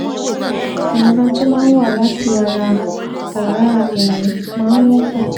Ìrora tó máa ń wá láti ara ọ̀rá ẹyin máa ń wọ́pọ̀